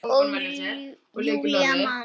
Og Júlía man.